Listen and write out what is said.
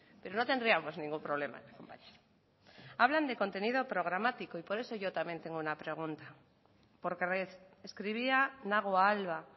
pretenden pero no tendríamos ningún problema en acompañarles hablan de contenido programático y por eso yo también tengo una pregunta porque escribía nagua alba